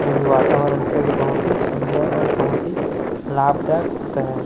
जो कि वातावरण का ये बहोत ही सुंदर ओर बहोत ही लाभदायक होता है।